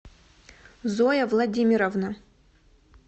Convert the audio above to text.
зоя владимировна